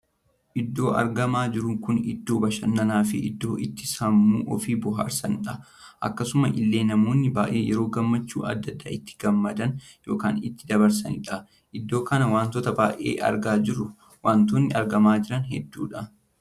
Iddoo argamaa jiru kun iddoo bashannanaa fi iddoo itti sammuu ofii booharsanidha. akkasuma illee namoonni baay'ee yeroo gammachuu addaa addaa itti gammadan ykn itti dabarsanidha. iddoo kana wanttoo baay'ee argaa jirru. wantoonni argamaa jiran heddudha.